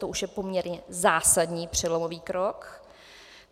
To už je poměrně zásadní přelomový krok.